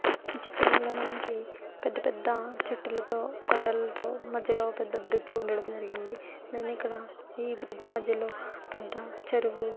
ఈ చిత్రంలో మనకి పెద్ద పెద్ద చెట్టులతో బండలతో పెద్ద బ్రిడ్జి ఉండడం జరిగింది. పైనెక్కడ ఈ బ్రిడ్జి మధ్యలో పెద్ద చెరువు--